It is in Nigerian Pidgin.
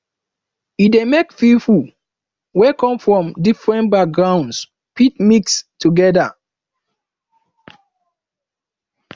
e de make pipo wey come from different backgroungs fit mix together